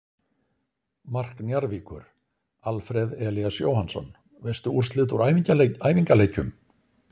Mark Njarðvíkur: Alfreð Elías Jóhannsson Veistu úrslit úr æfingaleikjum?